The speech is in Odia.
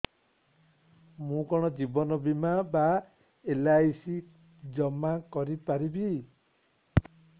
ମୁ କଣ ଜୀବନ ବୀମା ବା ଏଲ୍.ଆଇ.ସି ଜମା କରି ପାରିବି